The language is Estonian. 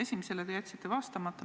Esimesele te jätsite vastamata.